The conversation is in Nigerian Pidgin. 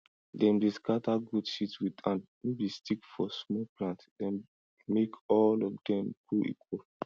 dem dey scatter goat shit with hand no be stickfor small plant dem make all of dem grow equal